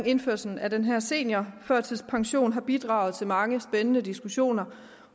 indførelsen af den her seniorførtidspension har bidraget til mange spændende diskussioner